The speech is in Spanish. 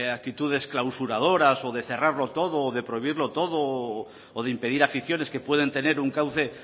actitudes clausuradoras o de cerrarlo todo o de prohibirlo todo o de impedir aficiones que pueden tener un cauce